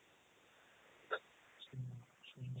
ಸರಿ ಸರಿ